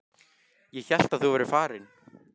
Ég hélt að þú værir farinn.